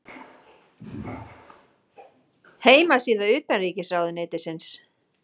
Heimasíða utanríkisráðuneytisins.